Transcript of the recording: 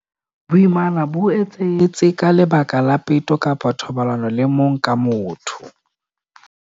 Boimana bo etsahetse ka lebaka la peto kapa thobalano le mong ka motho.